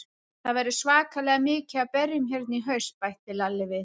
Það verður svakalega mikið af berjum hérna í haust, bætti Lalli við.